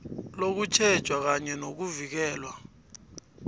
nokutjhejwa kanye nokuvikelwa